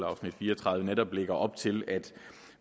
afsnit fire og tredive netop lægger op til at